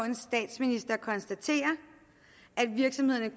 en statsminister konstatere at virksomhederne